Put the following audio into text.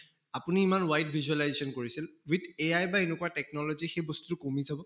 আপুনি ইমান wide visualization কৰিছিল with AI বা এনেকুৱা technology সেই বস্তুটো কমি যাব